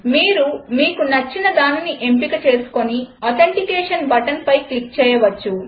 మీరు మీకు నచ్చినదానిని ఎంపికచేసుకొని ఆథెంటికేషన్ బటన్ క్లిక్ చేయవచ్చు